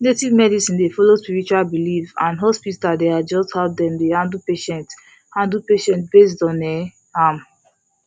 native medicine dey follow spiritual belief and hospital dey adjust how dem dey handle patient handle patient based on um am